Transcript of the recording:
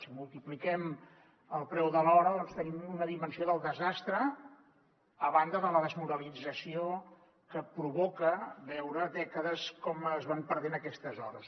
si multipliquem el preu de l’hora tenim una dimensió del desastre a banda de la desmoralització que provoca veure dècades com es van perdent aquestes hores